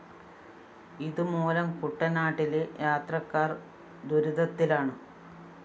ഇതുമൂലം കുട്ടനാട്ടിലെ യാത്രക്കാര്‍ ദുരിതത്തിലാണ്